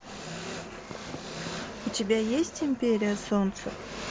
у тебя есть империя солнца